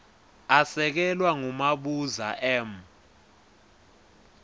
asekelwa ngumabuza m